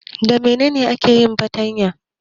Da menena ake yin fartanya?